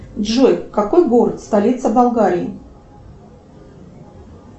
джой какой город столица болгарии